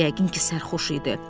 Yəqin ki, sərxoş idi.